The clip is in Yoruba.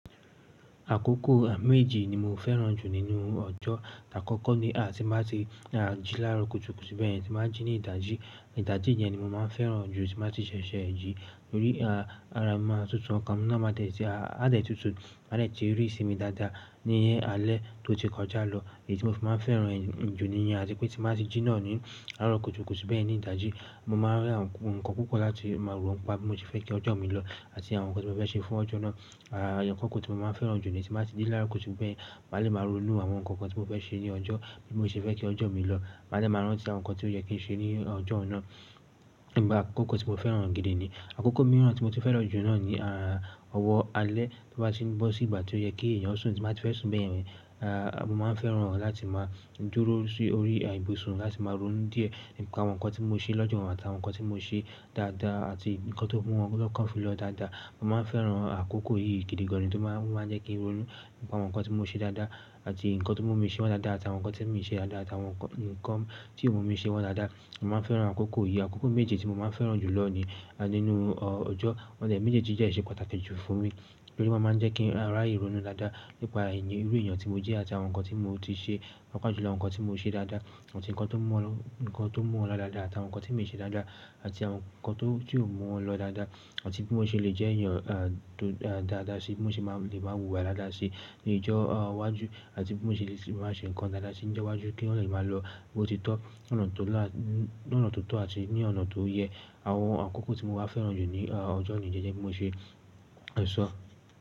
Àkókò méje ni mo fẹ́ràn jù nínú ọjọ́. Ti àkọ́kọ́ ni àti bá ti máa jí lára kùtùkùtù bẹ́yen tí m ba jí ní ìdájí. Ìdájí yẹn ni mo máa ń fẹ́ràn jù tí mo bá ti ṣẹ̀ṣẹ̀ jí nítorí a ara mi maa tútù ọkàn mi náà máa dẹ̀ ti a dẹ̀ tútù máa dẹ̀ ti rí isínmi dáadáa ní alẹ́ tó ti kọjá lọ. Èyí tí mo fi máa ń fẹ́ràn e jù níyen àti pé tí mo bá ti jí náà ni aro kùtùkùtù beyen ni ìdájí. Mo má n rí àwọn nǹkan púpọ̀ láti máa rò nipa bí mo ṣe fẹ́ kí ọjọ́ mi lọ àti àwọn nǹkan tí mo fẹ́ ṣe fún ọjọ́ náà. Àkoko tí mo máa ń fẹ́ràn jù ni tí mo bá ti dé láaro kùtùkùtù beyen maa lè má ronú àwọn nǹkan kan tí mo fẹ́ ṣe ní ọjọ́ bí mo ṣe fẹ́ kí ọjọ́ mi lọ. Máa dẹ̀ máa rántí àwọn nǹkan tí ó yẹ kí n ṣe ní ọjọ́ oun náà. Igba akókò tí mo fẹ́ràn gidi ni àkókò mìíràn tí mo ti fẹ́ràn jù náà ni ọ̀wọ́ alẹ́ tí ó bá ti ń bọ́ sí ìgbà tí ó yẹ kí èèyàn sùn tí mo bá ti fẹ́ sùn beyen mo máa ń fẹ́ràn láti máa dúró sórí ibùsùn láti máa ronú díẹ̀ nípa àwọn nǹkan tí mo ṣe lọ́jọ́ àti àwọn nǹkan tí mo ṣe dáadáa àti nǹkan tó mú wọn lọ́kàn fún mi lọ dáadáa. Mo máa ń fẹ́ràn àkókò yìí gidi gan ni tó máa ń jẹ́ kí n ronú nípa àwọn nǹkan tí mo ṣe dáadáa àti nǹkan tó mú mi ṣe wọ́n dáadáa àti àwọn nǹkan tí mi ṣe dáadáa àti àwọn nǹkan tí ò mú mi ṣe wọ́n dáadáa. Mo máa ń fẹ́ràn àkókò yìí. Àkókò méjì tí mo máa ń fẹ́ràn jù lọ ni nínú ọjọ́. Awon méjì yìí de se pataki ju fún mi nítorí wọ́n máa ń jẹ́ kí raye ìronú dáadáa nípa irú èèyàn tí mo jẹ́ àti àwọn nǹkan tí mo ti ṣe paapaa júlọ àwọn nǹkan tí mo ṣe dáadáa àti nǹkan tó mú wọn lọ dáadáa àti àwọn nǹkan tí mi ṣe dáadáa àti àwọn nǹkan tí ò mú wọn lọ dáadáa àti bí mo ṣe lè jẹ́ èèyàn tó dáadáa sí bí mo ṣe lè máa wùwà dáadáa sí ní ọjọ́ iwájú àti bí mo ṣe lè máa ṣe nǹkan dáadáa sí ní ọjọ́ iwájú kí wọ́n lè máa lọ bo títọ́ lọ́nà tó là tó tọ́ àti ní ọ̀nà tó yẹ. Àwọn àkókò tí mo máa ń fẹ́ràn jù ní ọjọ́ ni yi gẹ́gẹ́ bí mo ṣe sọ.